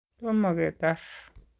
Tomo ketar.